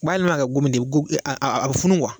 U b'a yɛlɛma ka kɛ gomi de ye a be a be funu kuwa